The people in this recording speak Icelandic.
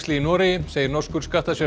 í Noregi segir norskur